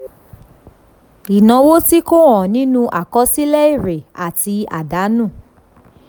ìnáwó tí kò hàn nínú àkọsílẹ̀ èrè àti àdánù.